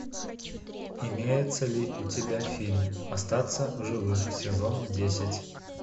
имеется ли у тебя фильм остаться в живых сезон десять